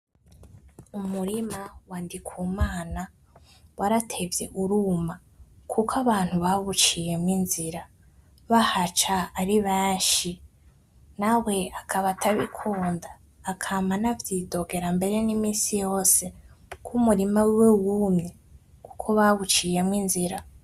Umurima wa Ndikumana waratevye uruma kuko abantu bawuciyemwo inzira, bahaca ari benshi nawe akaba atabikunda akama anavyidogera, mbere niminsi yose ko umurima wiwe wumye ko bawuciyemwo inzira